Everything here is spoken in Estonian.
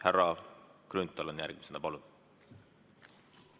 Härra Grünthal on järgmisena, palun!